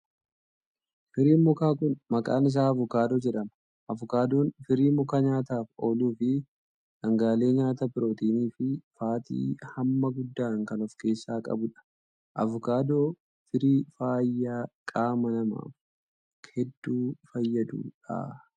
Firiin mukaa kun, maqaan isaa avokaadoo jedhama. Avokaadoon firii mukaa nyaataf ooluu fi dhangaalee nyaataa pirootinii fi faatii hamma guddaan kan of keessaa qabuu dha. Avokaadoo firii fayyaa qaama namaaf hedduu fayyaduu dha.